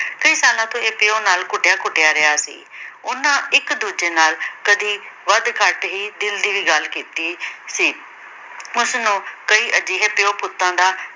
ਕਈ ਸਾਲਾਂ ਤੋਂ ਇਹ ਪਿਉ ਨਾਲ ਘੁਟਿਆ-ਘੁਟਿਆ ਰਿਹਾ ਸੀ। ਉਹਨਾਂ ਇੱਕ-ਦੂਜੇ ਨਾਲ ਕਦੀ ਵੱਧ-ਘੱਟ ਹੀ ਦਿਲ ਦੀ ਗੱਲ ਕੀਤੀ ਸੀ। ਉਸਨੂੰ ਕਈ ਅਜਿਹੇ ਪਿਉ-ਪੁੱਤਾਂ ਦਾ